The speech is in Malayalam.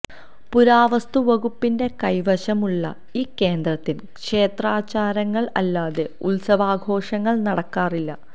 പുരാവസ്തു വകുപ്പിന്റെ കൈവശം ഉള്ള ഈ കേന്ദ്രത്തിൽ ക്ഷേത്രാചാരങ്ങൾ അല്ലാതെ ഉത്സവാഘോഷങ്ങൾ നടക്കാറില്ല